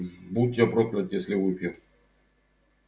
будь я проклят если выпью